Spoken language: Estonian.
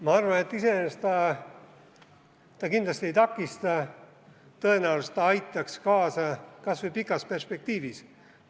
Ma arvan, et iseenesest see kindlasti ei takista, tõenäoliselt see aitaks kas või pikas perspektiivis kaasa.